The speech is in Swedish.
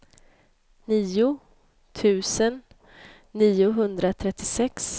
nio tusen niohundratrettiosex